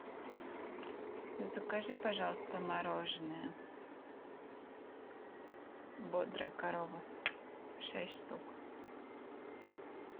закажи пожалуйста мороженое бодрая корова шесть штук